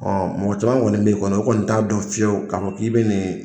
Ɔn mɔgɔ caman kɔni b'i kɔnɔ u kɔni t'a dɔ fiyewu k'i be nin